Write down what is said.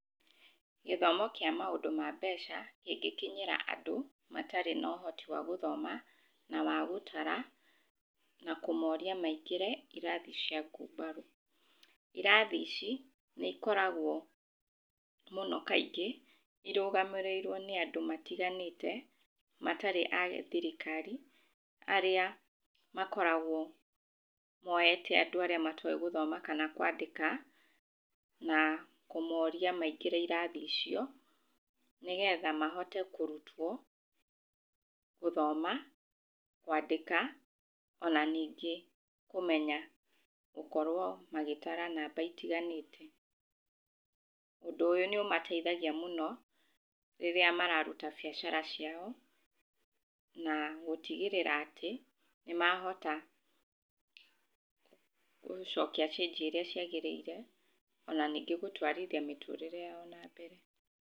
Gĩthomo kĩa maũndũ ma mbeca kĩngĩkinyĩra andũ matarĩ na ũhoti wa gũthoma na wa gũtara, na kũmoria maingĩre irathi cia ngumbarũ. Irathi ici nĩikoragwo mũno kaingĩ irũgamĩrĩirwo nĩ andũ matiganĩte matarĩ a gĩthirikari, arĩa makoragwo moete andũ arĩa matowĩ gũthoma kana kwandĩka na kũmoria maingĩre irathi icio, nĩgetha mahote kũrutwo gũthoma, kwandĩka ona ningĩ kũmenya gũkorwo magĩtara namba itiganĩte. Ũndũ ũyũ nĩũmateithagia mũno rĩrĩa mararuta biacara ciao, na gũtigĩrĩra atĩ nĩmahota gũcokia cĩnji ũrĩa ciagĩrĩire, ona ningĩ gũtwarithia mĩtũrĩre yao na mbere.